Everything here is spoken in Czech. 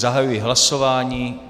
Zahajuji hlasování.